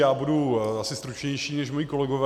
Já budu asi stručnější než moji kolegové.